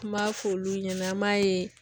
N m'a f'olu ɲɛna an m'a ye